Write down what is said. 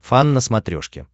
фан на смотрешке